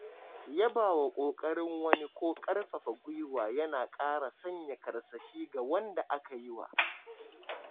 Yabawa ƙoƙarin wani ko ƙarfafa gwuiwa yana ƙara sanya karsashi ga wanda aka yiwa.